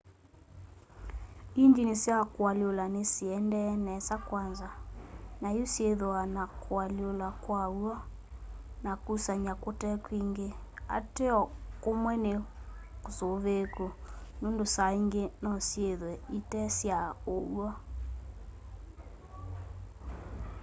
ingyini sya kualyula nisiendee nesa kwanza nayu syithwaa na kualyula kwa w'o na kusany'a kute kwingi ateo kumwe ni kusuviiku nundu saa ingi nosyithwe ite sya uw'o